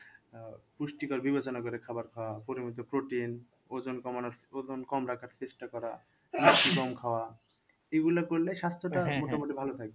আহ পুষ্টিকর বিবেচনা করে খাওয়ার খাওয়া পরিবর্তে protein ওজন কমানোর ওজন কম রাখার চেষ্টা করা কম খাওয়া এগুলা করলে স্বাস্থ্যটা ভালো থাকবে।